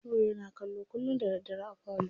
Nura yana kallo kullum da daddare a falo.